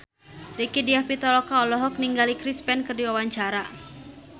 Rieke Diah Pitaloka olohok ningali Chris Pane keur diwawancara